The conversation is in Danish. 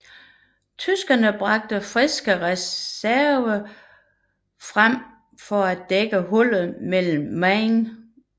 Tyskerne bragte friske reserver frem for at dække hullet mellem Menen og Ypres